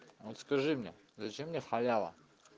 вот скажи мне зачем мне халява